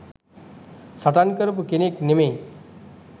සටන් කරපු කෙනෙක් නෙමෙයි.